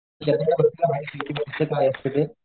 काय असत ते.